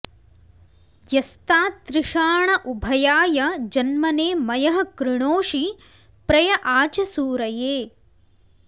यस्तातृषाण उभयाय जन्मने मयः कृणोषि प्रय आ च सूरये